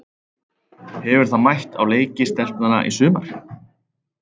Hefur það mætt á leiki stelpnanna í sumar?